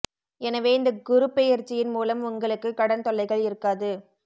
எனவே இந்த குருப் பெயர்ச்சியின் மூலம் உங்களுக்கு கடன் தொல்லைகள் இருக்காது